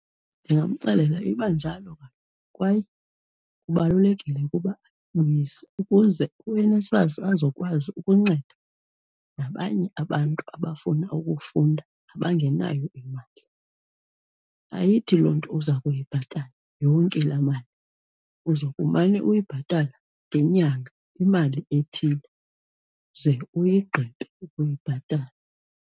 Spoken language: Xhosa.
Ndingamxelela iba njalo kaloku kwaye kubalulekile ukuba ayibuyise ukuze uNSFAS azokwazi ukunceda nabanye abantu abafuna ukufunda abangenayo imali. Ayithi loo nto uzakuyibhatala yonke laa mali. Uza kumane uyibhatala ngenyanga imali ethile ze uyigqibe ukuyibhatala.